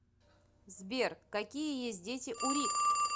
сбер какие есть дети у рик